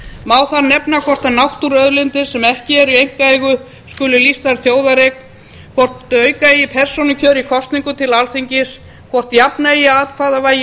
má þar nefna hvort náttúruauðlindir sem ekki eru í einkaeigu skuli lýstar þjóðareign hvort auka eigi persónukjör í kosningum til alþingis hvort jafna eigi atkvæðavægi